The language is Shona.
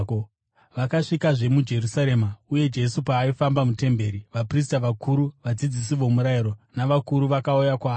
Vakasvikazve muJerusarema, uye Jesu paaifamba mutemberi, vaprista vakuru, vadzidzisi vomurayiro navakuru vakauya kwaari.